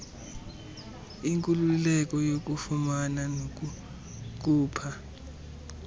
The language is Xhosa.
inkululeko yokufumana nokukhupha